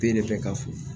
Be ne bɛ ka fo